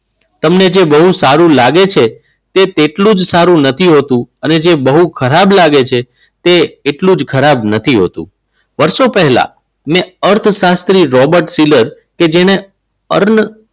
તમને જે બહુ સારું લાગે છે તે તેટલું જ સારું નથી હોતું. અને જે બહુ ખરાબ લાગે છે તે એટલું જ ખરાબ નથી હોતું. વર્ષો પહેલા મેં અર્થશાસ્ત્રી રોબર્ટ ફિલ્મ કે જેને